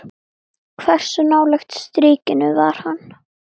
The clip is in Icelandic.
Elsku Systa mín.